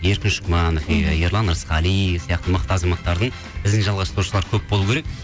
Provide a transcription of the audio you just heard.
еркін шүкманов иә ерлан ырысқали сияқты мықты азаматтардың ізін жалғастырушылар көп болу керек